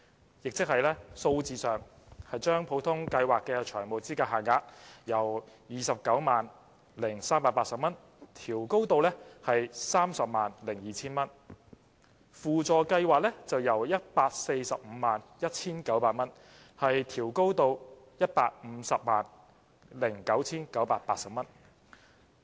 換言之，將普通法律援助計劃的財務資格限額由 290,380 元調高至 302,000 元，法律援助輔助計劃則由 1,451,900 元調高至 1,509,980 元。